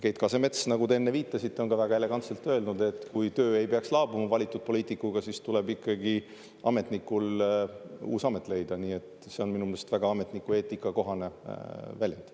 Keit Kasemets, nagu te enne viitasite, on väga elegantselt öelnud, et kui töö valitud poliitikuga ei peaks laabuma, siis tuleb ikkagi ametnikul uus amet leida, nii et see on minu meelest väga ametnikueetikakohane väljend.